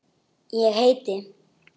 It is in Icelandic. Ég heiti